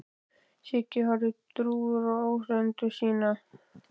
Siggi horfði drjúgur á áheyrendur sína.